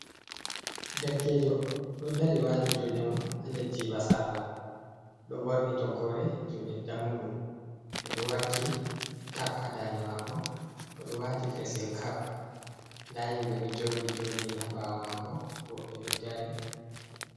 Derkejo do dari wati jude mum ha der jiba sarla do borni toggore jude dam mudum odo wakki tak ha dade mako odo wati fesing kap. Da himbe do jodi, jodini ha bawo mako woɓɓe do dari.